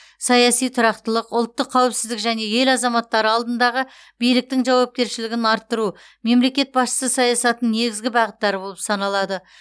саяси тұрақтылық ұлттық қауіпсіздік және ел азаматтары алдындағы биліктің жауапкершілігін арттыру мемлекет басшысы саясатының негізгі бағыттары болып саналады